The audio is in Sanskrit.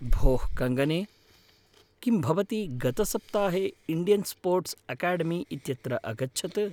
भोः कङ्गने, किं भवती गतसप्ताहे इण्डियन् स्पोर्ट्स् अकाडेमी इत्यत्र अगच्छत्?